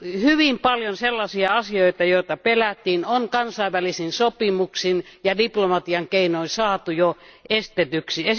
Hyvin paljon sellaisia asioita, joita pelättiin, on kansainvälisin sopimuksin ja diplomatian keinoin saatu jo estetyksi.